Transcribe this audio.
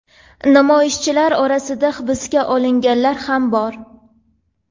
Namoyishchilar orasida hibsga olinganlar ham bor.